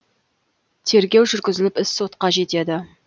тергеу жүргізіліп іс сотқа жетеді